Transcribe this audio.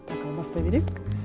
так ал бастай берейік